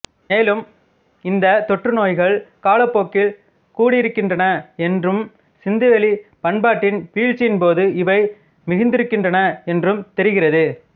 மேலும் இந்தத் தொற்று நோய்கள் காலப்போக்கில் கூடியிருக்கின்றன என்றும் சிந்துவெளிப் பண்பாட்டின் வீழ்ச்சியின்போது இவை மிகுந்திருக்கின்றன என்றும் தெரிகிறது